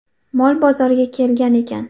Mol bozorga kelgan ekan.